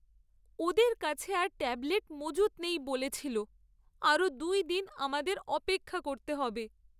ওদের কাছে আর ট্যাবলেট মজুত নেই বলেছিলো। আরও দুই দিন আমাদের অপেক্ষা করতে হবে।